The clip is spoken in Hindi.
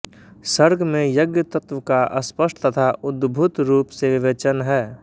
सर्ग में यज्ञ तत्त्व का स्पष्ट तथा उद्भूत रूप से विवेचन है